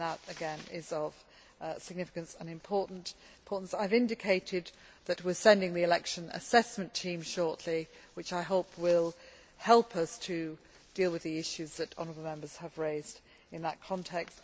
That, again, is of significance and importance. I have indicated that we are sending the election assessment team shortly, which I hope will help us deal with the issues that honourable Members have raised in that context.